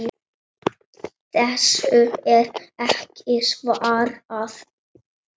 Þessu er ekki svarað.